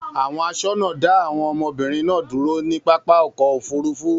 Àwọn aṣọ́nà dá àwọn ọmọbìnrin náà dúró ní pápá ọkọ̀-òfurufú.